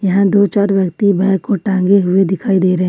और दो चार व्यक्ति बैग को टंगे हुए दिखाई दे रहे--